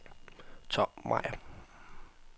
Tom Meyer